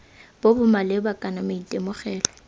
bo bo maleba kana maitemogelo